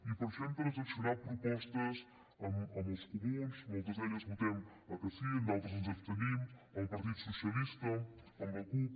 i per això hem transaccionat propostes amb els comuns en moltes d’elles votem que sí en d’altres ens abstenim amb el partit socialista amb la cup